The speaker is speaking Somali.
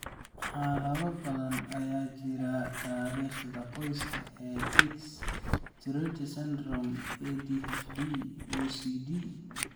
Xaalado badan, waxaa jira taariikhda qoyska ee tics, Tourette Syndrome, ADHD, OCD.